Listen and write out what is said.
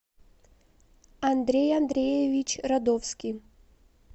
андрей андреевич радовский